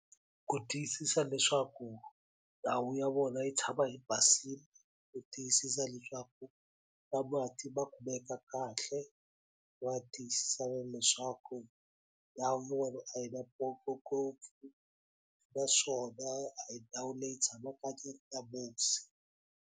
Ku tiyisisa leswaku ndhawu ya vona yi tshama yi basini ku tiyisisa leswaku na mati ma kumeka kahle va tiyisisa na leswaku na a yi na ngopfu naswona a hi ndhawu leyi tshamaka .